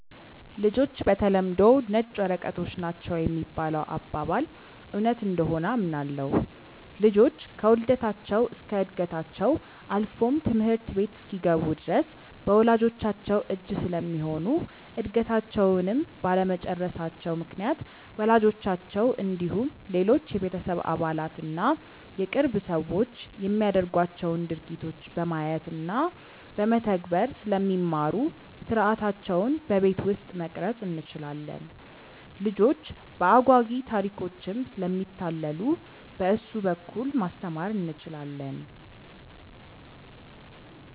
''ልጆች በተለምዶ ነጭ ወረቀቶች ናቸው ''የሚባለው አባባል እውነት እንደሆነ አምናለሁ። ልጆች ከውልደታቸው እስከ ዕድገታቸው አልፎም ትምህርት ቤት እስኪገቡ ድረስ በወላጅቻቸው እጅ ስለሚሆኑ እድገታቸውንም ባለመጨረሳቸው ምክንያት ወላጆቻቸው እንዲሁም ሌሎች የቤተሰብ አባላት እና የቅርብ ሰዎች የሚያደርጓቸውን ድርጊቶች በማየት እና በመተግበር ስለሚማሩ ሥርዓታቸውን በቤት ውስጥ መቅረፅ እንችላለን። ልጆች በአጓጊ ታሪኮችም ስለሚታለሉ በእሱ በኩል ማስተማር እንችላለን።